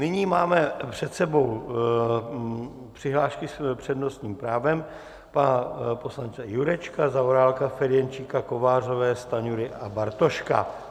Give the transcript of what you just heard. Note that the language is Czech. Nyní máme před sebou přihlášky s přednostním právem pana poslance Jurečky, Zaorálka, Ferjenčíka, Kovářové, Stanjury a Bartoška.